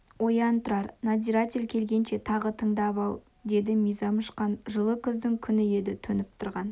оян тұрар надзиратель келгенше тағы тыңдап ал деді мизам ұшқан жылы күздің күні еді төніп тұрған